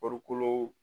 Farikolo